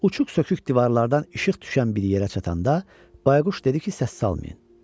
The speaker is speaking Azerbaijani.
Uçuq-sökük divarlardan işıq düşən bir yerə çatanda bayquş dedi ki, səs salmayın.